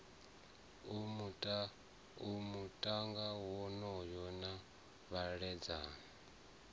a muta wonoyo na vhaledzani